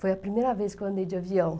Foi a primeira vez que eu andei de avião.